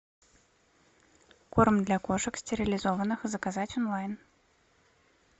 корм для кошек стерилизованных заказать онлайн